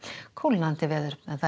kólnandi veður